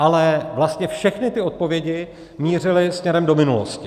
Ale vlastně všechny ty odpovědi mířily směrem do minulosti.